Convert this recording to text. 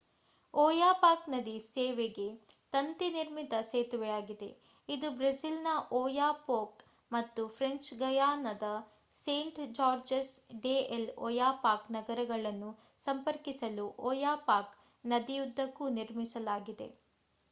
Oyapock ನದಿ ಸೇತುವೆ ತಂತಿ-ನಿರ್ಮಿತ ಸೇತುವೆಯಾಗಿದೆ. ಇದು ಬ್ರೆಜಿಲ್‌ನ ಓಯಾಪೋಕ್ ಮತ್ತು ಫ್ರೆಂಚ್ ಗಯಾನಾದ ಸೇಂಟ್-ಜಾರ್ಜಸ್ ಡೆ ಎಲ್ ಒಯಾಪಾಕ್ ನಗರಗಳನ್ನು ಸಂಪರ್ಕಿಸಲು ಓಯಾಪಾಕ್ ನದಿಯುದ್ದಕ್ಕೂ ನಿರ್ಮಿಸಲಾಗಿದೆ